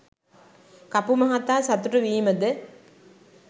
කපු මහතා සතුටු වීමද